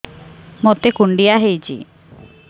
ମୋତେ କୁଣ୍ଡିଆ ହେଇଚି